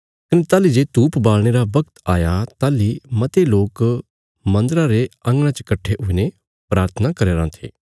कने ताहली जे धूप बालणे रा बगत आया ताहली मते लोक मन्दरा रे अंगणा च कट्ठे हुईने प्राथना करी कराँ थे